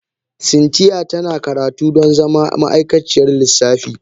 Cynthia tana karatu don zama ma'aikaciyar lissafi